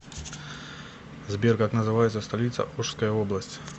сбер как называется столица ошская область